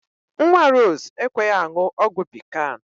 Nwa Rose ekweghi aṅụ ọgwụ pikan